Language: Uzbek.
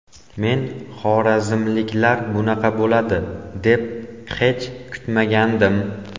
Men xorazmliklar bunaqa bo‘ladi, deb hech kutmagandim.